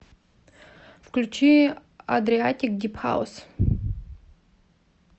включи адриатик дип хаус